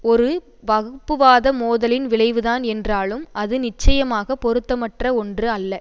ஒரு வகுப்புவாத மோதலின் விளைவுதான் என்றாலும் அது நிச்சயமாக பொறுத்தமற்ற ஒன்று அல்ல